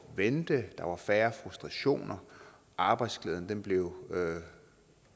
vente der var færre frustrationer arbejdsglæden blev